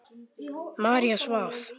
María svaf.